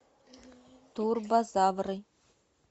турбозавры